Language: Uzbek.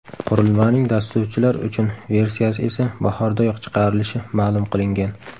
Qurilmaning dasturchilar uchun versiyasi esa bahordayoq chiqarilishi ma’lum qilingan.